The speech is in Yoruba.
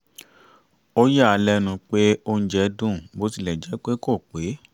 ó yà á lẹ́nu pé oúnjẹ dùn bó tilẹ̀ jẹ́ pé kò pé